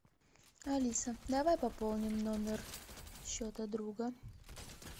алиса давай пополним номер счета друга